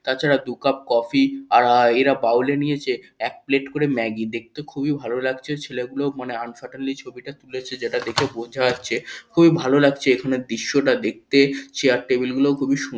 তাছাড়া দু cup coffee আর এরা বাউলী নিয়েছে এক প্লেট করে ম্যাগি দেখতে খুবই ভালো লাগছে ছেলেগুলো আনসারটেন্টলি ছবিটা তুলেছে যেটা দেখে বোঝা যাচ্ছে খুবই ভালো লাগছে এখানে দৃশ্যটা দেখতে চেয়ার টেবিল গুলোও খুবই সুন--